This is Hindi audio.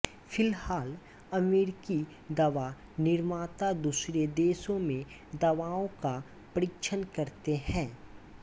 फिलहाल अमेरिकी दवा निर्माता दूसरे देशों में दवाओं का परीक्षण करते हैं